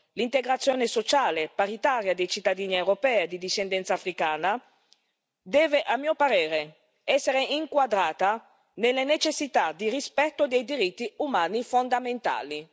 L'integrazione sociale paritaria dei cittadini europei di discendenza africana deve, a mio parere, essere inquadrata nelle necessità di rispetto dei diritti umani fondamentali.